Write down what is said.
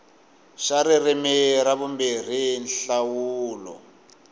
xa ririmi ra vumbirhi nhlawulo